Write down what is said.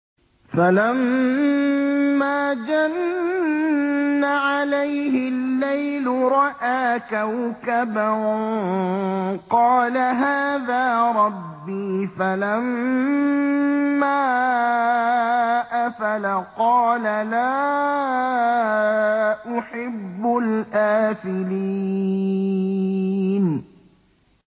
فَلَمَّا جَنَّ عَلَيْهِ اللَّيْلُ رَأَىٰ كَوْكَبًا ۖ قَالَ هَٰذَا رَبِّي ۖ فَلَمَّا أَفَلَ قَالَ لَا أُحِبُّ الْآفِلِينَ